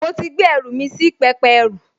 Mo ti gbé ẹrù mi sí pẹpẹ ẹrú